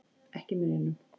Ekki í munninum.